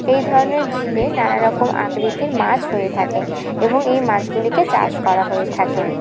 এই ধরনের ঝিলে নানা রকম আকৃতির মাছ হয়ে থাকে এবং এই মাছগুলিকে চাষ করা হয়ে থাকে।